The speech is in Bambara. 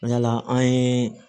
Yala an ye